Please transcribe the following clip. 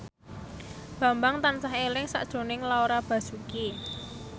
Bambang tansah eling sakjroning Laura Basuki